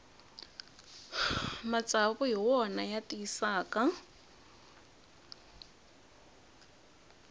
matsavu hi wona ya tiyisaka